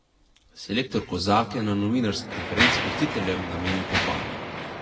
Selektor Kozak je na novinarski konferenci gostiteljem namenil pohvalo.